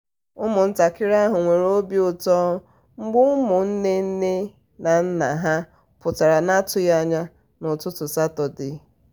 ụmụntakịrị ahụ nwere obi ụtọ mgbe ụmụ nwanne nne na nna ha pụtara n'atụghị anya n'ụtụtụ satọdee.